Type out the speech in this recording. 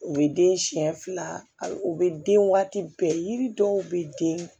U bɛ den siyɛn fila hali u bɛ den waati bɛɛ yiri dɔw bɛ den